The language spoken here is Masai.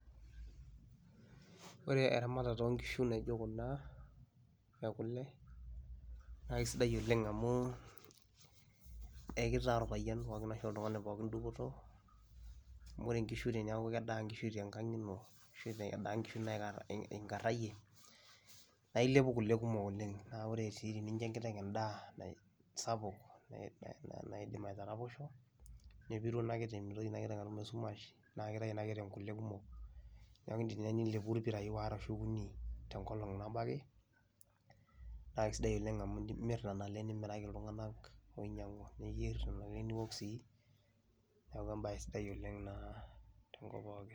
Ore eramatata oo nkishu naijo kuna e kule naake sidai oleng' amu ekitaa orpayian pookin ashu oltung'ani pookin dupoto amu ore inkishu teneeku kedaa inkishu te ng'ang' ino ashu edaa inkishu naika endaa inkishu inkarayie naa ilepu kule kumok oleng'. Naa ore sii tenincho enkiteng' endaa sapuk na naidim aitaraposho nepiru ina kiteng' mitoki ina kiteng' atum esumash naa kitayu ina kiteng kule kumok, neeku iindim ninye nilepu irpirai waare arashu okuni te nkolong' nabo ake naa kesidai oleng' amu imir nena ale nimiraki iltung'anak oinyang'u niyer nena ale niwok sii. Neeku embaye sidai naa tenkop pookin.